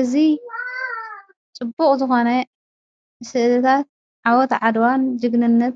እዝ ጽቡቕ ዝኾነ ሥእልታት ዓወት ዓድዋን ጅግንነት